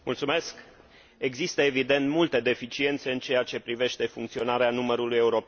Există, evident, multe deficiențe în ceea ce privește funcționarea numărului european de urgență.